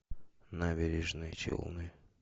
набережные челны